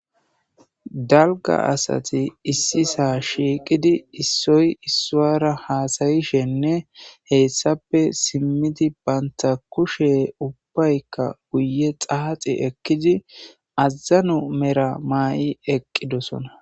Dalgga asati issisa shiiqidi issoy isuwara hasayishenne hessappe simidi banta kushe ubbaka guyye xaaxi ekidi azano mera maayi eqidosona.